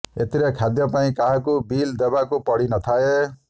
ଏଥିରେ ଖାଦ୍ୟ ପାଇଁ କାହାକୁ ବିଲ୍ ଦେବା ପାଇଁ ପଡ଼ିନଥାଏ